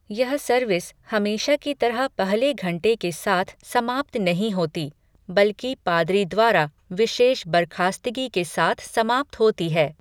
यह सर्विस हमेशा की तरह पहले घंटे के साथ समाप्त नहीं होती, बल्कि पादरी द्वारा विशेष बर्खास्तगी के साथ समाप्त होती है।